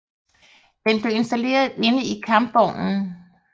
Den blev installeret inde i kampvognen